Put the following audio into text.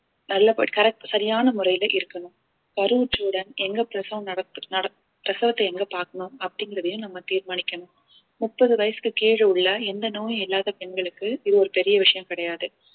நல்லபடி~ correct சரியான முறையில இருக்கணும் கருவுற்றவுடன் எங்க பிரசவம் நடத்த நடத்~ பிரசவத்தை எங்க பாக்கணும் அப்படிங்கறதையும் நம்ம தீர்மானிக்கணும் முப்பது வயசுக்கு கீழே உள்ள எந்த நோயும் இல்லாத பெண்களுக்கு இது ஒரு பெரிய விஷயம் கிடையாது